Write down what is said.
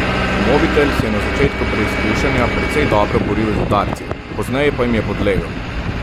Mobitel se je na začetku preizkušanja precej dobro boril z udarci, pozneje pa jim je podlegel.